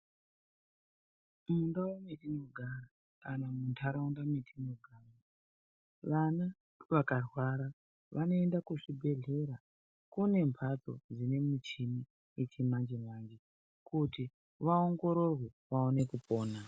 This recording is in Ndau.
Mundau netinogara kana munharaunda netinogara vana vakarwara vanoenda kuchibhedhlera kune mhatso dzine michini yechimanje-manje. Kuti vaongororwe vaone kupona.